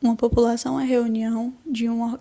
uma população é a reunião